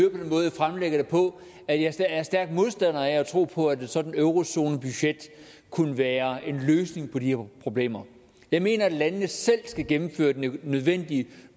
fremlægger det på at jeg er stærk modstander af at tro på at et sådant eurozonebudget kunne være en løsning på de problemer jeg mener at landende selv skal gennemføre den nødvendige